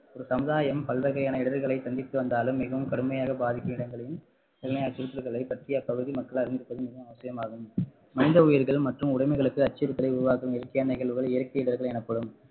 ஒரு சமுதாயம் பல்வகையான இடருகளை சந்தித்து வந்தாலும் மிகவும் கடுமையாக பாதிக்கும் இடங்களில் பற்றி அப்பகுதி மக்கள் அறிந்துகொள்வது மிகவும் அவசியமாகும் மனித உயிர்கள் மற்றும் உடமைகளுக்கு அச்சுறுத்தலை உருவாக்கும் இயற்கையான நிகழ்வுகள் இயற்கை இடர்கள் எனப்படும்